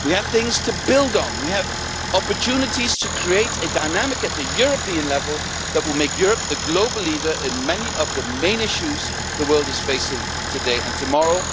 We have things to build on, we have opportunities to create a dynamic at the European level that will make Europe the global leader in many of the main issues the world is facing today and tomorrow.